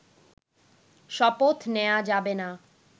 শপথ নেয়া যাবে না